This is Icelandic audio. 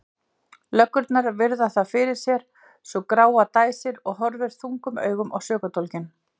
Löggurnar virða það fyrir sér, sú gráa dæsir og horfir þungum augum á sökudólginn.